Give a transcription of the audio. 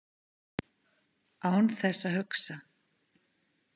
Án þess að hugsa.